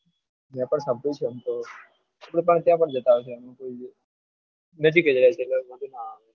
મેં પણ સમજુ છું એમ તો એટલે ત્યાં પણ જતા આવીશું ત્યાં નજીક જ રહે છે એટલે વાંધો ના આવે